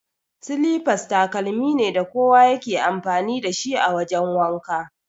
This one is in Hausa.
Silifas takalmi ne da kowa ya ke amfani dashi a wajan wanka.